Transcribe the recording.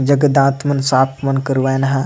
जेकर दांत मन साफ मन करवाएन ह।